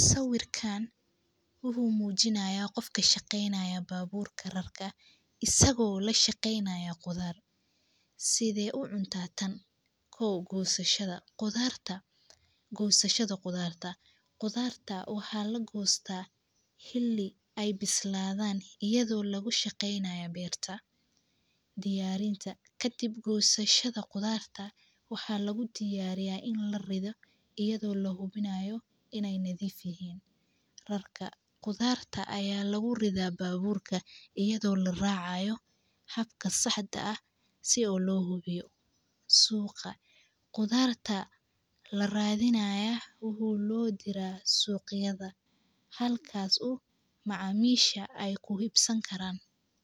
Sawirkan wuxuu mujinayaa qof kashaqeynaya gisashada qudharta, qudharta xili iyada oo lahubimayo in ee nadhif yahin suqa qudharta laradhinayo waxee nohiran suqa halka ee ku hubsan karan macamisha qarto si ee qudharta ufican oo lo ibiyo waxan ujedha qof walbawo in u shaqadhis hasto.